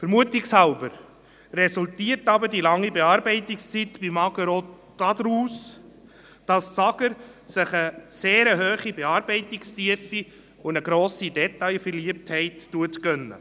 Ich vermute, dass die lange Bearbeitungszeit beim AGR daraus resultiert, dass sich das AGR eine sehr hohe Bearbeitungstiefe und eine grosse Detailverliebtheit gönnt.